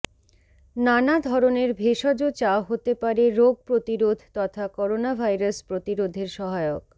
নানা ধরণের ভেষজ চা হতে পারে রোগ প্রতিরোধ তথা করোনাভাইরাস প্রতিরোধের সহায়ক